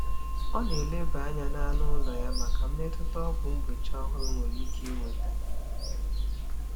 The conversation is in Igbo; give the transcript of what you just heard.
Ọ na-eleba anya na anụ ụlọ ya maka mmetụta ọgwụ mgbochi ọhụrụ nwere ike iweta.